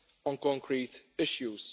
on concrete issues.